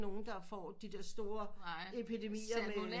Nogen der får de der store epidemier